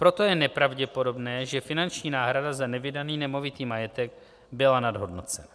Proto je nepravděpodobné, že finanční náhrada za nevydaný nemovitý majetek byla nadhodnocena.